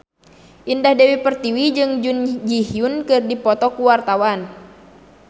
Indah Dewi Pertiwi jeung Jun Ji Hyun keur dipoto ku wartawan